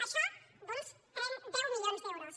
això doncs deu milions d’euros